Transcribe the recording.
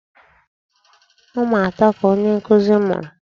Ụmụ atọ ka onye nkụzi mụrụ.